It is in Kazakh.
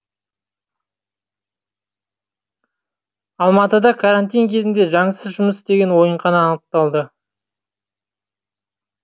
алматыда карантин кезінде заңсыз жұмыс істеген ойынхана анықталды